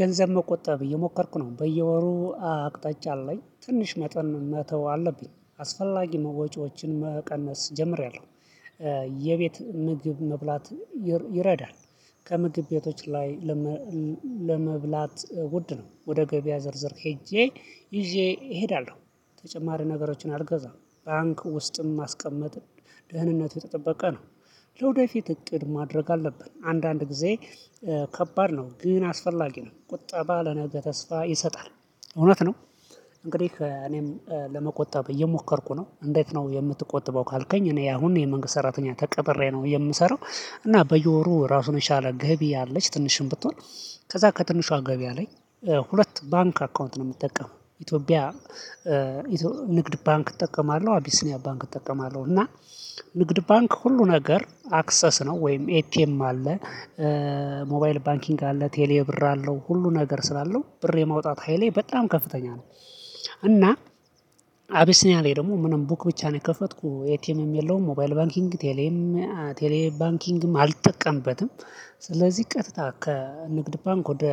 ገንዘብ መቆጣብ እየሞከርኩ ነው በየወሩ አቅጣጫ አለኝ ትንሽ መጠን መተው አለብኝ አስፈላጊ ወጪዎችን መቀነስ ጀምሬያለሁ። የቤት ምግብ መብላት ይረዳል። ከምግብ ቤቶች ላይ። ለመብላት ውድ ነው ወደ ገበያ ዝርዝር ሄጄ ይዤ እሄዳለሁ ተጨማሪ ነገሮችን ባንክ ውስጥም ማስቀመጥ ደህንነት የተጠበቀ ነው። ለወደፊት እቅድ ማድረግ አለብን አንዳንድ ጊዜ። ከባድ ነው ግን አስፈላጊ ነው ቁጠባ ለነገ ተስፋ ይሰጣል። እውነት ነው። እንግዲህ እኔም ለመቆጠብ እየሞከርኩ ነው። እንዴት ነው የምትቆጥበው ካልከኝ? እኔ አሁን የመንግስት ሰራተኛ ተቀጥሬ ነው የምሰራው። እና በየወሩ ራሱን የቻለ ገቢ አለች ትንሽም ብትሆን ከዛ ከትንሿ ገቢ አለኝ። ሁለት ባንክ አካውንት ነው የምጠቀመው ኢትዮጵያ ንግድ ባንክ እጠቀማለሁ አቢሲኒያ ባንክ እጠቀማለሁ። እና ንግድ ባንክ ሁሉ ነገር አክሰስ ነው ወይም ኤቲኤም አለ። ሞባይል ባንኪንግ አለ ቴሌ ብር አለው ሁሉ ነገር ስላለው ብር የማውጣት ሃይሌ በጣም ከፍተኛ ነው። እና አቢሲኒያ ደግሞ ምንም ቡክ ብቻ ነው የከፈትኩ ኤቴኤምም የለውም ሞባይል ባንኪንግ ቴሌም ቴሌ ባንኪንግም አልጠቀምበትም። ስለዚህ ቀጥታ ከንግድ ባንክ ወደ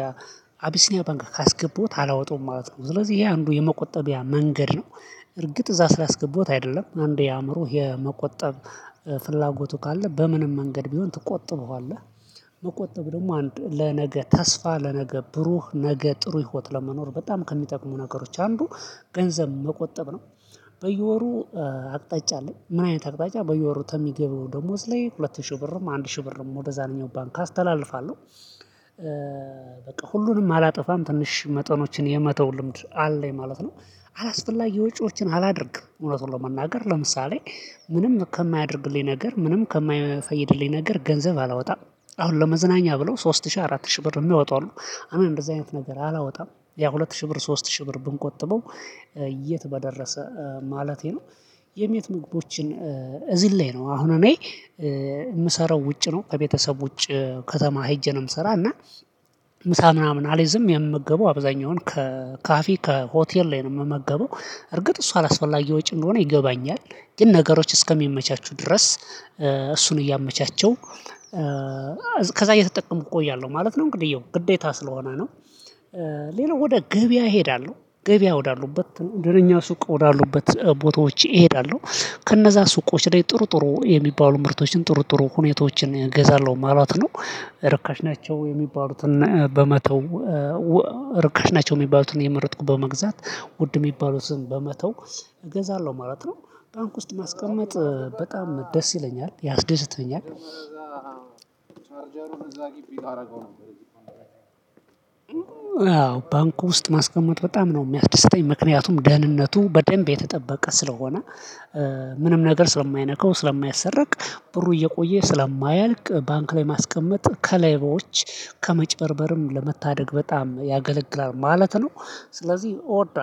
አቢሲኒያ ባንክ ካስገባውት አላወጡም ማለት ነው። ስለዚህ ይሄ አንዱ የመቆጠቢያ መንገድ ነው። እርግጥ እዛ ስላስገባሁት አይደለም አንዴ የአእምሮ የመቆጠብ ፍላጎቱ ካለ በምንም መንገድ ቢሆን ትቆጥበዋለህ። መቆጠብ ደግሞ አንድ ለነገ ተስፋ ለነገ ብሩህ ነገ ጥሩ ህይወት ለመኖር በጣም ከሚጠቅሙ ነገሮች አንዱ። ገንዘብ መቆጠብ ነው። በየወሩ አቅጣጫ አለኝ ምን አይነት አቅጣጫ በየወሩ ተሚገባው ደሞዝ ላይ ሁለት ሺህ ብርም አንድ ሺህ ብርም ወደዛኛው ባንክ አስተላልፋለሁ። በቃ ሁሉንም አላጠፋም ትንሽ መጠኖችን የመተው ልምድ አለ ማለት ነው። አላስፈላጊ ወጪዎችን አላደርግም እውነቱን ለመናገር ለምሳሌ ምንም ከማያደርግልኝ ነገር ምንም ከማይፈይድልኝ ነገር ገንዘብ አላወጣም። አሁን ለመዝናኛ ብለው ሶስት ሺህ አራት ሺህ ብር የሚያወጡ አሉ። እኔ እንደዚህ አይነት ነገር አላወጣም ያ ሁለት ሺህ ብር ሶስት ሺህ ብር ብንቆጥበው። የት በደረሰ ማለቴ ነው። የቤት ምግቦችን እዚህ ላይ ነው አሁን እኔ የምሰራው ውጭ ነው ከቤተሰብ ውጭ። ከተማ ሄጄ ነው የምሰራው እና። ምሳ ምናምን አልይዝም የምመገበው አብዛኛውን ከካፌ ከሆቴር ላይ ነው የምመገበው። እርግጥ እሷ አላስፈላጊ ወጪ እንደሆነ ይገባኛል ግን ነገሮች እስከሚመቻቹ ድረስ። እሱን እያመቻቸው። ከዛ እየተጠቀምኩ እቆያለሁ ማለት ነው እንግዲህ ይኸው ግዴታ ስለሆነ ነው። ሌላው ወደ ገበያ እሄዳለሁ ገበያ ወዳሉበት ደነኛ ሱቅ ወዳሉበት ቦታዎች እሄዳለሁ ከነዛ ሱቆች ላይ ጥሩ ጥሩ የሚባሉ ምርቶችን ጥሩ ጥሩ ሁኔታዎችን እገዛለሁ ማለት ነው። ርካሽ ናቸው የሚባሉትን በመተው። ርካሽ ናቸው የሚባሉትን እየመረጥኩ በመግዛት ውድ የሚባሉትን በመተው እገዛለሁ ማለት ነው። ባንክ ውስጥ ማስቀመጥ በጣም ደስ ይለኛል ያስደስተኛል እዛ ግቢ ታደርገው ነበር። ያው ባንኩ ውስጥ ማስቀመጥ በጣም ነው የሚያስደስተኝ ምክንያቱም ደህንነቱ በደንብ የተጠበቀ ስለሆነ። ምንም ነገር ስለማይነካው ስለማያሰረቅ። ብሩ እየቆየ ስለማያልቅ ባንክ ላይ ማስቀመጥ ከሌቦች ከመጨበርበርም ለመታደግ በጣም ያገለግላል ማለት ነው። ስለዚህ እወዳለሁ